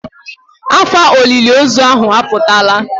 Ọkwa olile ozu ahụ aputala.